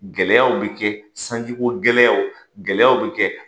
Gɛlɛyaw bɛ kɛ sanji ko gɛlɛyaw, gɛlɛya bɛ kɛ,